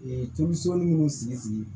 tomiso mun sigi sigi